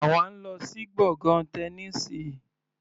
Àwa ń lọ sí gbọ̀ngàn Tẹniísì.